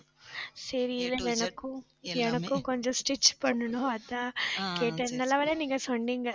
சரி எனக்கும் எனக்கும் கொஞ்சம் stitch பண்ணணும். அதான் கேட்டேன் நல்ல வேலை நீங்க சொன்னீங்க